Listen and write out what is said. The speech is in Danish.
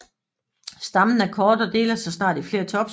Stammen er kort og deler sig snart i flere topskud